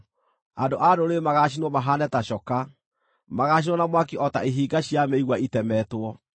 Andũ a ndũrĩrĩ magaacinwo mahaane ta coka; magaacinwo na mwaki o ta ihinga cia mĩigua itemetwo.”